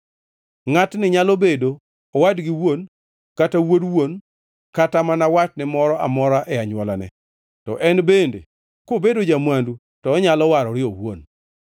Ngʼatni nyalo bedo owad gi wuon, kata wuod wuon kata mana watne moro amora e anywolane. To en bende kobedo ja-mwandu to onyalo warore owuon.